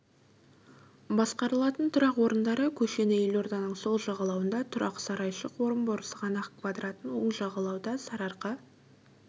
басқарылатын тұрақ орындары көшені елорданың сол жағалауында тұран сарайшық орынбор сығанақ квадратын оң жағалауда сарыарқа